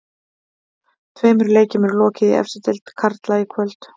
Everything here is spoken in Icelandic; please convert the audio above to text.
Tveimur leikjum er lokið í efstu deild karla í kvöld.